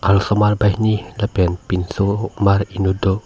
arloso mar banghini lapen pinso mar enut do.